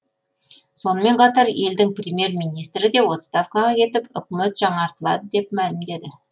сонымен қатар елдің премьер министрі де отставкаға кетіп үкімет жаңартылады деп мәлімдеді